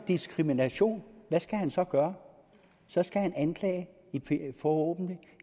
diskrimination hvad skal han så gøre så skal han anklage forhåbentlig